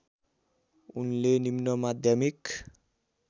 उनले निम्नमाध्यमिक